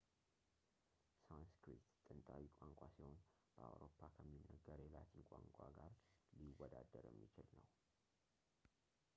ሳንስክሪት ጥንታዊ ቋንቋ ሲሆን በአውሮፓ ከሚነገር የላቲን ቋንቋ ጋር ሊወዳደር የሚችል ነው